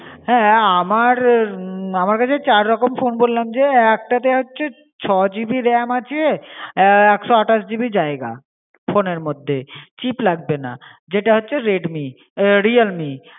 হ্যাঁ আমার হম আমার কাছে চার রকম phone বললাম যে। একটা তো হচ্ছে ছয় GB RAM আছে, আহ একশ আঠাশ GB জায়গা ফোনের মধ্যে, chip লাগবে না, যেটা হচ্ছে REDMI, আহ REAE ।